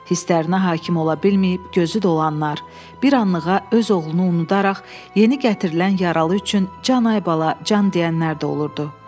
Hisslərinə hakim ola bilməyib gözü dolanlar, bir anlığa öz oğlunu unudaraq yeni gətirilən yaralı üçün can ay bala can deyənlər də olurdu.